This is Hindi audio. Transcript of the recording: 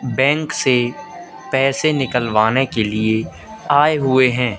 बैंक से पैसे निकलवाने के लिए आए हुए हैं।